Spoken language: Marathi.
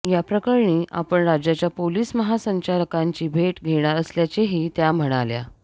या प्रकरणी आपण राज्याच्या पोलीस महासंचालकांची भेट घेणार असल्याचेही त्या म्हणाल्या